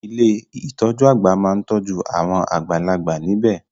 Ilé ìtọjú àgbà máa n tọ́jú awon àgbàlagbà níbẹ̀.